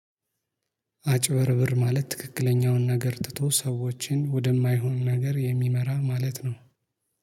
አጭበርባሪ ማለት ትክክለኛውን ነገር ትቶ ሰዎችን ወደማይሆን ነገር የሚመራ ማለት ነው።